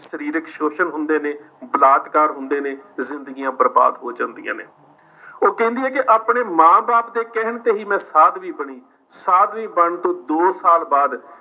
ਸ਼ਰੀਰਕ ਸੋਸ਼ਣ ਹੁੰਦੇ ਨੇ, ਬਲਾਤਕਾਰ ਹੁੰਦੇ ਨੇ ਤੇ ਜ਼ਿੰਦਗੀਆਂ ਬਰਬਾਦ ਹੋ ਜਾਂਦੀਆਂ ਨੇ। ਉਹ ਕਹਿੰਦੀ ਹੈ ਕਿ ਆਪਣੇ ਮਾਂ ਬਾਪ ਦੇ ਕਹਿਣ ਤੇ ਹੀ ਮੈਂ ਸਾਧਵੀ ਬਣੀ, ਸਾਧਵੀ ਬਣਨ ਤੋਂ ਦੋ ਸਾਲ ਬਾਅਦ